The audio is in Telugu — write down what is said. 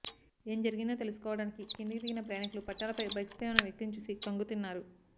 ఏం జరిగిందో తెలుసుకోవడానికి కిందికి దిగిన ప్రయాణికులు పట్టాలపై బైక్పై ఉన్న వ్యక్తిని చూసి కంగుతిన్నారు